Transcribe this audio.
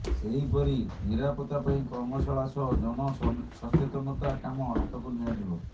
ସେହିପରି ନିରାପତା ପାଇଁ କର୍ମଶାଳା ସହ ଜନସଚେତନତା କାମ ହାତକୁ ନିଆଯିବ